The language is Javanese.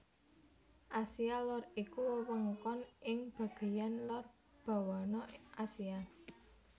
Asia Lor iku wewengkon ing bagéyan lor bawana Asia